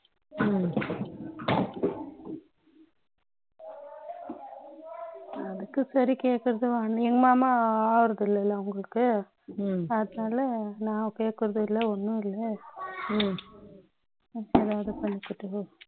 அதுக்கு சரி கேட்கிறது உங்க மாமா ஆகுறது இல்லையா அவருக்கு அதனால நான் கேட்கிறது இல்ல ஒன்னும் இல்ல